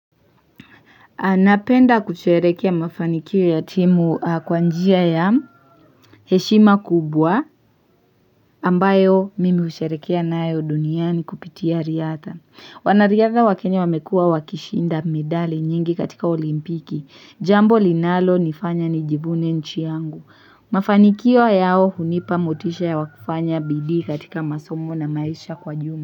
Napenda kusherehekea mafanikio ya timu kwa njia ya heshima kubwa ambayo mimi husherehekea nayo duniani kupitia riadha. Wanariadha wa Kenya wamekua wakishinda medali nyingi katika olimpiki. Jambo linalo nifanya nijivune nchi yangu. Mafanikio yao hunipa motisha ya wakufanya bidii katika masomo na maisha kwa jumla.